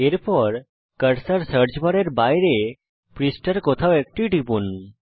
এরপর cursor search বারের বাইরে পৃষ্ঠার কোথাও একটি টিপুন